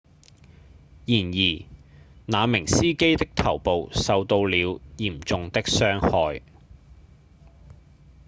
然而那名司機的頭部受到了嚴重的傷害